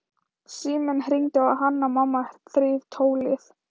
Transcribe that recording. Síminn hringdi og Hanna-Mamma þreif tólið.